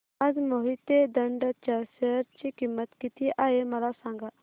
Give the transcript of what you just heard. आज मोहिते इंड च्या शेअर ची किंमत किती आहे मला सांगा